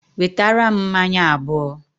Wetara m mmanya abuo